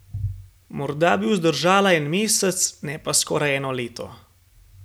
Morda bi vzdržala en mesec, ne pa skoraj eno leto.